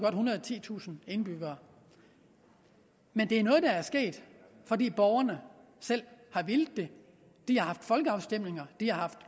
og titusind indbyggere men det er noget der er sket fordi borgerne selv har villet det de har haft folkeafstemninger de har haft